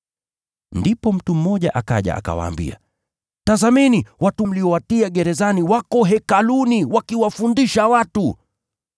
Ndipo mtu mmoja akaja akawaambia, “Tazameni watu mliowatia gerezani wako Hekaluni wakiwafundisha watu.”